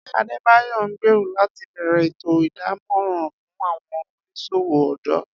Adebayor ngbero lati bẹrẹ eto idamọran fun awọn oniṣowo ọdọ.